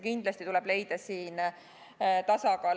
Kindlasti tuleb siin leida tasakaal.